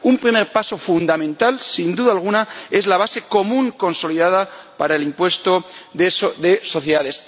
Un primer paso fundamental, sin duda alguna, es la base común consolidada del impuesto de sociedades.